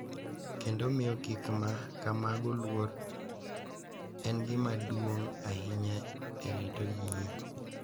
Kendo miyo gik ma kamago luor en gima duong’ ahinya e rito yie.